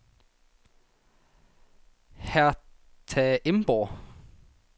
Hertha Emborg